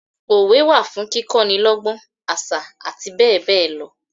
Òwe wa fún kíkọ ni lọ́gbọ́n, àṣà àti bẹ́ẹ̀ bẹẹ lọ.